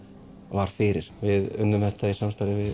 var fyrir við unnum þetta í samstarfi við